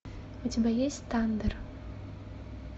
у тебя есть тандер